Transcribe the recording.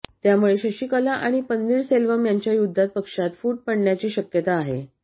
त्यामुळे शशीकला आणि पन्नीरसेल्वम यांच्या युद्धात पक्षात फूट पडण्याची शक्यता आहे